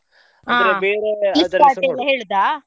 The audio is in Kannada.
ಬೇರೆ .